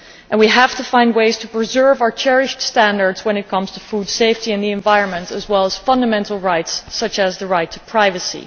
We have to find ways to preserve our cherished standards when it comes to food safety and the environment, as well as fundamental rights, such as the right to privacy.